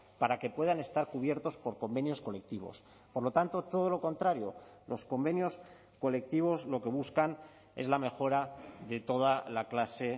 para que puedan estar cubiertos por convenios colectivos por lo tanto todo lo contrario los convenios colectivos lo que buscan es la mejora de toda la clase